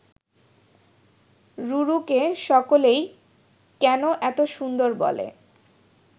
রুরুকে সকলেই কেন এত সুন্দর বলে